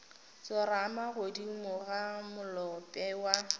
tsorama godimo ga molope ya